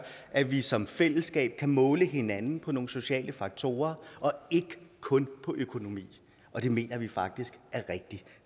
at vi som fællesskab kan måle hinanden på nogle sociale faktorer og ikke kun på økonomi og det mener vi faktisk er rigtig